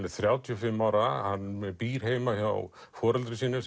er þrjátíu og fimm ára hann býr heima hjá foreldrum sínum